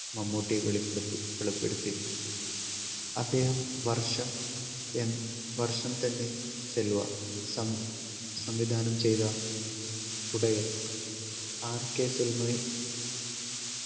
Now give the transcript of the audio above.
മമ്മൂട്ടി വെളിപ്പെടുത്തി വെളിപ്പെടുത്തി അദ്ദേഹം വർഷം എൻ വർഷം തന്നെ cinema സം സംവിധാനം ചെയ്ത ഉടെ RK